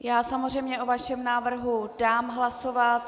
Já samozřejmě o vašem návrhu dám hlasovat.